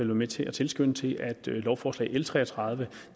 med til at tilskynde til at dette lovforslag l tre og tredive